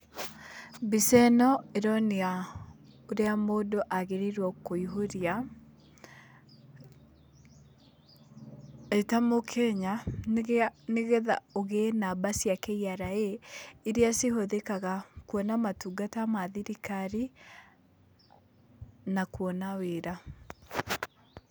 Mbica ĩno ĩronia, ũrĩa mũndũ agĩrĩirwo kũihũria, e ta mũkenya, nĩgetha ũgĩe namba cia KRA, iria cihũthĩkaga kuona motungata ma thirikari, na kuona wĩra.